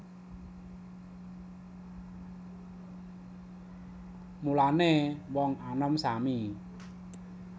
Mulané wong anom sami